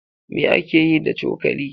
Me ake yi da cokali?